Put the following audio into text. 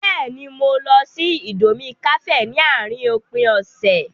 Bẹ́ẹ̀ni, mo lọ sí íńdómí kàféè ní àárín òpin ọ̀sẹ̀.